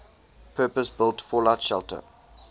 purpose built fallout shelter